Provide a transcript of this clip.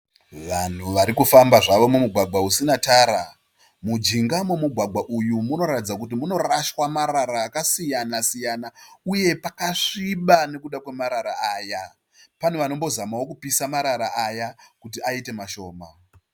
Vanhu varikufamba zvavo mumugwagwa usina tara. Mujinga memugwagwa uyu munoratidza kuti munorashwa marara akasiyana siyana uye pakasviba nekuda kwemarara aya. Pane vanombozama kupisa marara aya kuti aite mashoma.